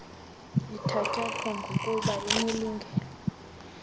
ithatyathwa bgokuba inelungelo